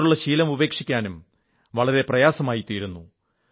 അതിനോടുള്ള ശീലം ഉപേക്ഷിക്കാനും വളരെ പ്രയാസമായിത്തീരുന്നു